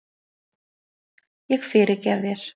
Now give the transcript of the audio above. Ég fyrirgef þér.